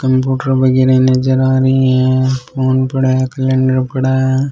Computer वगेरा नजर आ रहे है फ़ोन पड़ा है कैलेंडर पड़ा है।